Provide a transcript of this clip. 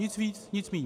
Nic víc, nic míň.